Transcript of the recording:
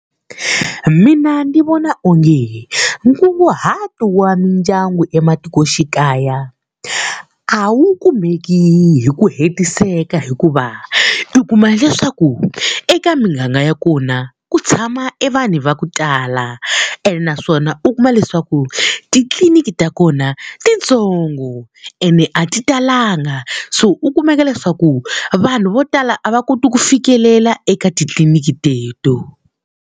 Mina ndzi vona onge nkunguhato wa mindyangu ematikoxikaya a wu kumeki hi ku hetiseka hikuva, u kuma leswaku eka miganga ya kona ku tshama vanhu va ku tala. Ene naswona u kuma leswaku titliliniki ta kona i ti ntsongo ene a ti talanga, so u kumeka leswaku vanhu vo tala a va koti ku fikelela eka titliliniki teto.